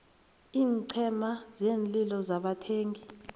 iinqhema zeenlilo zabathengi